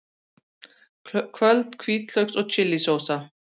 Köld hvítlauks og chili sósa